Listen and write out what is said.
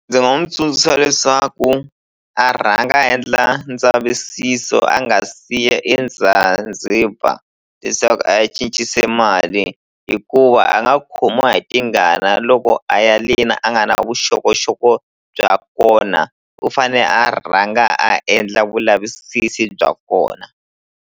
Ndzi nga n'wi tsundzuxa leswaku a rhanga a endla ndzavisiso a nga siya eZanzibar leswaku a ya cincise mali hikuva a nga khomiwa hi tingana loko a ya le na a nga na vuxokoxoko bya kona u fane a rhanga a endla vulavisisi bya kona.